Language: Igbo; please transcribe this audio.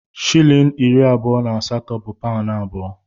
Shịlịn iri abụọ na asatọ bu paụnụ abụọ.